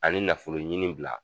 Ani nafolo ɲini bila.